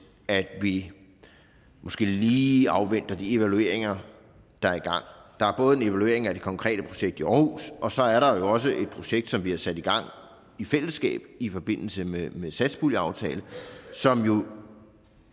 at vi måske lige afventer de evalueringer der er i gang der er både en evaluering af det konkrete projekt i aarhus og så er der jo også et projekt som vi har sat i gang i fællesskab i forbindelse med satspuljeaftalen som jo